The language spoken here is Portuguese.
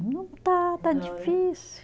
Não está, está difícil.